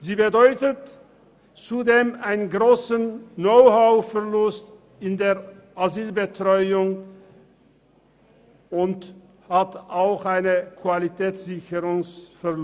Sie bedeutet zudem einen grossen Verlust an Know-how und Qualitätssicherung in der Asylbetreuung.